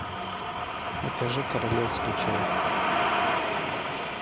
закажи королевский чай